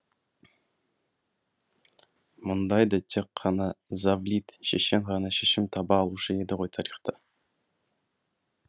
мұндайда тек қана завлит шешен ғана шешім таба алушы еді ғой тарихта